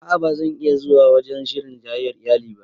A'a ba zan iya zuwa wajen shirin jayyayar iyali ba